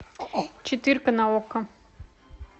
четырка на окко